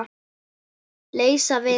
Leysa vind?